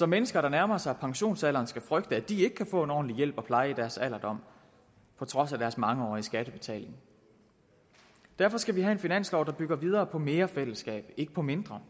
mennesker der nærmer sig pensionsalderen skal frygte at de ikke kan få en ordentlig hjælp og pleje i deres alderdom på trods af deres mangeårige skattebetaling derfor skal vi have en finanslov der bygger videre på mere fællesskab og ikke på mindre